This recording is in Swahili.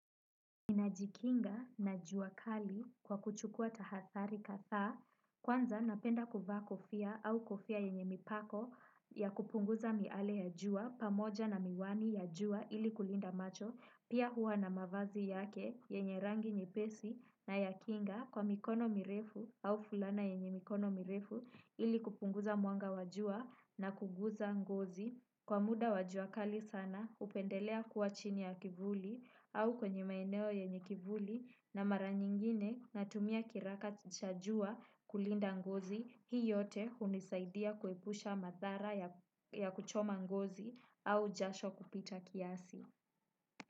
Najikinga na juakali kwa kuchukua tahadhari kadha, kwanza napenda kuvaa kofia au kofia yenye mipako ya kupunguza miale ya jua, pamoja na miwani ya jua ili kulinda macho, pia huwa na mavazi yake yenye rangi nye pesi na ya kinga kwa mikono mirefu au fulana yenye mikono mirefu ili kupunguza mwanga wa jua na kuguza ngozi. Kwa muda wajuakali sana hupendelea kuwa chini ya kivuli au kwenye maeneo yenye kivuli na mara nyingine na tumia kiraka chajua kulinda ngozi hii yote hunisaidia kuepusha madhara ya kuchoma ngozi au jasho kupita kiasi.